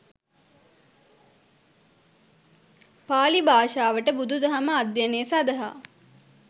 පාලි භාෂාවට බුදුදහම අධ්‍යයනය සඳහා